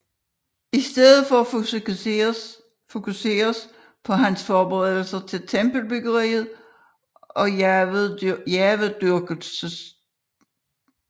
I stedet fokuseres på hans forberedelser til tempelbyggeriet og Jahvedyrkelsen der